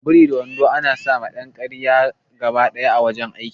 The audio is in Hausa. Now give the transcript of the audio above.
Biri da wando ana sawa dan kariya gabaɗaya a wajan aiki